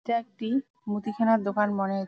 এটা একটি-ই মুদিখানা দোকান মনে হ--